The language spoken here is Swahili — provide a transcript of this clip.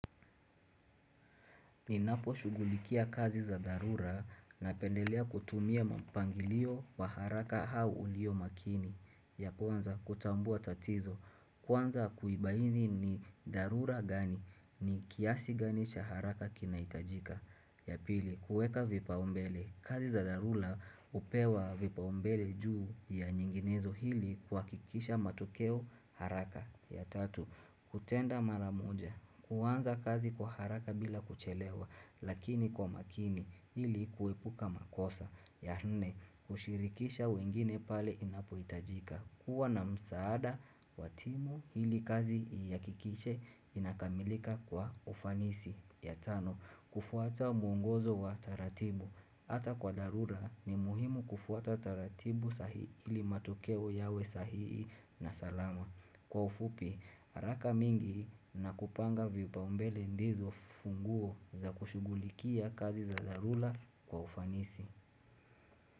Ninapo shugulikia kazi za dharura napendelea kutumia mpangilio wa haraka au ulio makini. Ya kwanza kutambua tatizo. Kwanza kuibaini ni dharura gani ni kiasi gani cha haraka kinahitajika. Ya pili, kueka vipaombele. Kazi za dharura upewa vipaombele juu ya nyinginezo ili kuhakikisha matokeo haraka. Ya tatu, kutenda mara moja. Kuanza kazi kwa haraka bila kuchelewa, lakini kwa makini ili kuepuka makosa. Ya nne, kushirikisha wengine pale inapuhitajika. Kuwa na msaada wa timu ili kazi iakikishe inakamilika kwa ufanisi. Ya tano, kufuata mwongozo wa taratibu. Hata kwa dharura ni muhimu kufuata taratibu sahihi ili matokeo yawe sahii na salama. Kwa ufupi, haraka mingi na kupanga vipaumbele ndizo funguo za kushugulikia kazi za dharura kwa ufanisi.